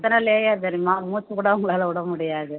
எத்தனை layer தெரியுமா மூச்சுக்கூட அவங்களால விட முடியாது